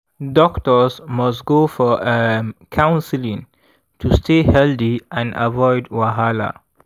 doctors must go for um counseling to stay healthy and avoid wahala.